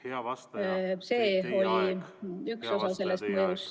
Hea vastaja, teie aeg!